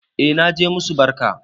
E naje na musu barka